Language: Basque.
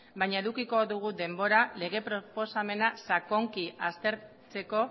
baina edukiko dugu denbora lege proposamena sakonki aztertzeko